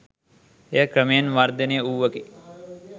එය ක්‍රමයෙන් වර්ධනය වූවකි